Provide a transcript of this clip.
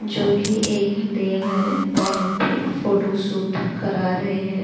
जो कि एक डैम है वहां पे फोटोशूट करा रहे हैं।